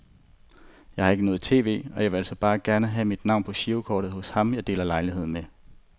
Jeg har ikke noget tv, og jeg ville altså bare gerne have mit navn på girokortet hos ham jeg deler lejlighed med.